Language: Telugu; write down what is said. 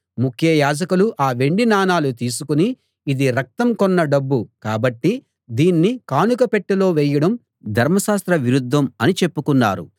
ముఖ్య యాజకులు ఆ వెండి నాణాలు తీసుకుని ఇది రక్తం కొన్న డబ్బు కాబట్టి దీన్ని కానుక పెట్టెలో వేయడం ధర్మశాస్త్ర విరుద్ధం అని చెప్పుకున్నారు